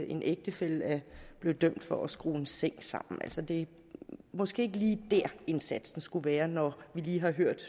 en ægtefælle er blevet dømt netop for at skrue en seng sammen altså det er måske ikke lige der indsatsen skulle være når vi lige har hørt